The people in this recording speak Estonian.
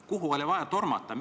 Kuhu oli vaja tormata?